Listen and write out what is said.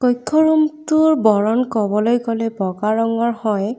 কক্ষ ৰূম টোৰ বৰণ কবলৈ গলে বগা ৰঙৰ হয়।